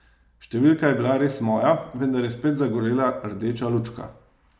Številka je bila res moja, vendar je spet zagorela rdeča lučka.